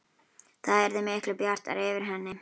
Það yrði miklu bjartara yfir henni.